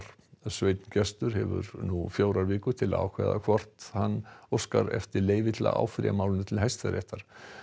sveinn Gestur hefur nú fjórar vikur til að ákveða hvort hann óskar eftir leyfi til að áfrýja málinu til Hæstaréttar